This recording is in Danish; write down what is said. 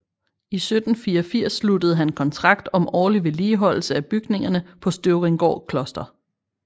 I 1784 sluttede han kontrakt om årlig vedligeholdelse af bygningerne på Støvringgaard Kloster